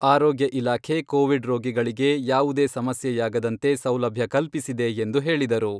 ಆರೋಗ್ಯ ಇಲಾಖೆ ಕೋವಿಡ್ ರೋಗಿಗಳಿಗೆ ಯಾವುದೇ ಸಮಸ್ಯೆಯಾಗದಂತೆ ಸೌಲಭ್ಯ ಕಲ್ಪಿಸಿದೆ ಎಂದು ಹೇಳಿದರು.